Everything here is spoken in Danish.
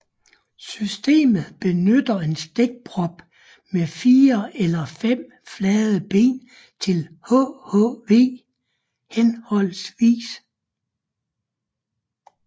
Systemet benytter en stikprop med 4 eller 5 flade ben til hhv